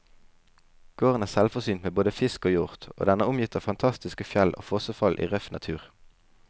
Gården er selvforsynt med både fisk og hjort, og den er omgitt av fantastiske fjell og fossefall i røff natur.